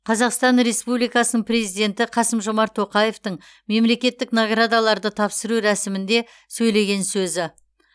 қазақстан республикасының президенті қасым жомарт тоқаевтың мемлекеттік наградаларды тапсыру рәсімінде сөйлеген сөзі